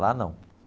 Lá não.